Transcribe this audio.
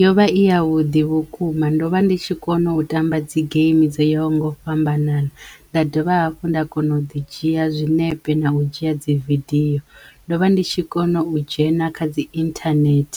Yo vha i ya vhuḓi vhukuma ndo vha ndi tshi kono u tamba dzi geimi dzo yaho nga u fhambanana nda dovha hafhu nda kono u ḓi dzhia zwinepe na u dzhia dzi vidiyo ndo vha ndi tshi kono u dzhena kha dzi internet